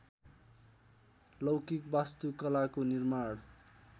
लौकिक वास्तुकलाको निर्माण